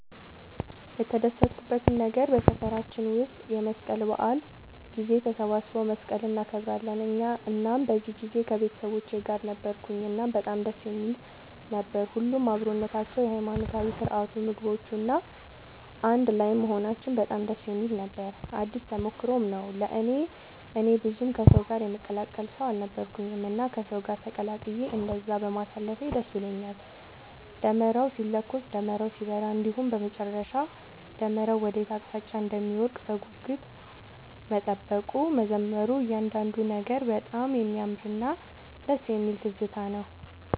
የተደሰትኩበት ነገር በሰፈራችን ውስጥ የመስቀል በዓል ጊዜ ተሰባስበው መስቀልን እናከብራለን እናም በዚህ ጊዜ ከቤተሰቦቼ ጋር ነበርኩኝ እናም በጣም ደስ የሚል ነበር። ሁሉም አብሮነታቸው፣ የሃይማኖታዊ ስርዓቱ፣ ምግቦቹ፣ እና አንድ ላይም መሆናችን በጣም ደስ የሚል ነበር ነው። አዲስ ተሞክሮም ነው ለእኔ። እኔ ብዙም ከሰው ጋር የምቀላቀል ሰው አልነበርኩኝም እና ከሰው ጋር ተቀላቅዬ እንደዛ በማሳለፌ ደስ ብሎኛል። ደመራው ሲለኮስ፣ ደመራው ሲበራ እንዲሁም በመጨረሻ ደመራው ወዴት አቅጣጫ እንደሚወድቅ በጉጉት መጠበቁ፣ መዘመሩ እያንዳንዱ ነገር በጣም የሚያምርና ደስ የሚል ትዝታ ነው።